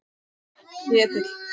Ketill